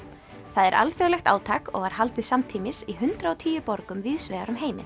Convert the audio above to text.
það er alþjóðlegt átak og var haldið samtímis í hundrað og tíu borgum víðs vegar um heiminn